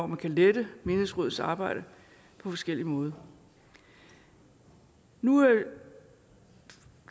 man kan lette menighedsrådenes arbejde på forskellig måde nu